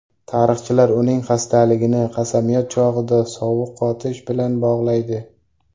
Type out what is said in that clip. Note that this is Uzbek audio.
Tarixchilar uning xastaligini qasamyod chog‘ida sovuq qotish bilan bog‘laydi.